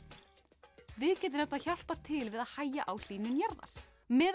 við getum hjálpað til við að hægja á hlýnun jarðar meðal